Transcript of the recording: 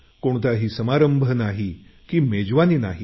कोणताही समारंभ नाही की मेजवानी नाही